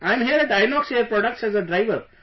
I am here at Inox Air Products as a driver